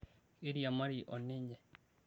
keiriamari o ninye